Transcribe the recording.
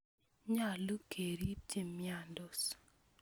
Nyalu kerip che miandos